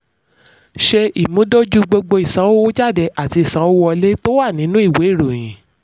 ṣe ìmúdójú gbogbo ìsanwójáde àti ìsanwówọlé tó wà nínú ìwé ìròyìn.